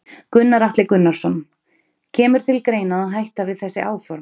Gunnar Atli Gunnarsson: Kemur til greina að hætta við þessi áform?